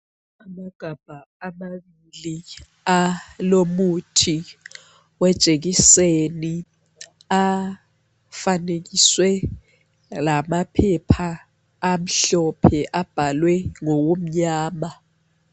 Amagabha amabili alomuthi wejekiseni afanekiswe lamaphepha amhlophe abhalwe ngokumnyama